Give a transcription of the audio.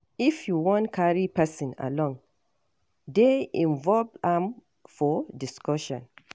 If you wan carry person along, dey involve am for discussion.